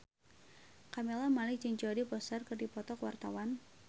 Camelia Malik jeung Jodie Foster keur dipoto ku wartawan